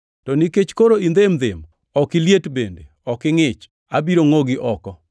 To nikech koro indhem-ndhem, ok iliet bende ok ingʼich, abiro ngʼogi oko.